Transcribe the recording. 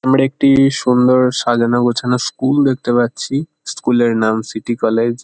আমরা একটি সুন্দর সাজানো গোছানো স্কুল দেখতে পাচ্ছি। স্কুল -এর নাম সিটি কলেজ ।